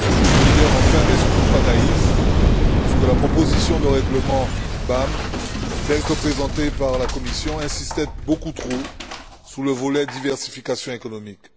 Solidaire enfin, mais surtout pas naïf, puisque la proposition de règlement BAM, telle que présentée par la Commission insistait beaucoup trop sur le volet diversification économique.